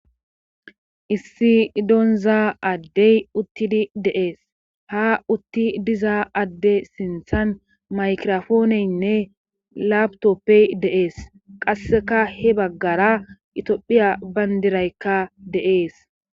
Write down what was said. issi donzaa addey uttidi deees ha utti diza adde sinthan maykirofooneynne laabtoppey deees qasseka he baggara itoophiya bayndiraykka deees